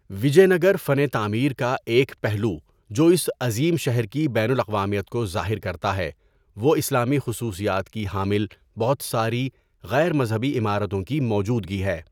وجے نگر فن تعمیر کا ایک پہلو جو اس عظیم شہر کی بین الاقوامیت کو ظاہر کرتا ہے، وہ اسلامی خصوصیات کی حامل بہت ساری غیر مذہبی عمارتوں کی موجودگی ہے۔